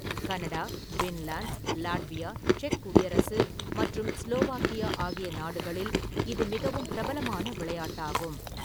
Canada, Finland , Latvia, செக் குடியரசு மற்றும் ஸ்லோவாக்கியா ஆகிய நாடுகளில் இது மிகவும் பிரபலமான விளையாட்டாகும்.